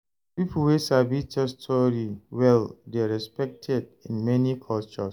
Pipo wey sabi tell story well dey respected in many cultures